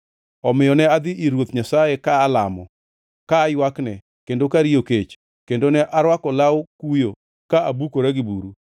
Omiyo ne adhi ir Ruoth Nyasaye ka alamo, ka aywakne kendo ka ariyo kech, kendo ne arwako law kuyo ka abukora gi buru.